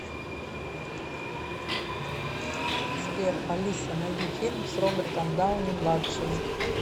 сбер алиса найди фильм с робертом дауни младшим